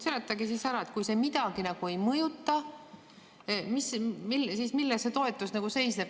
Seletage siis ära, milles see toetus seisneb, kui see midagi ei mõjuta.